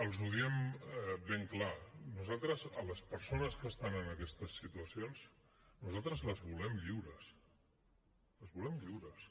els ho diem ben clar nosaltres a les persones que estan en aquestes situacions nosaltres les volem lliures les volem lliures